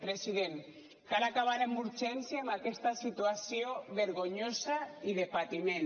president cal acabar amb urgència amb aquesta situació vergonyosa i de patiment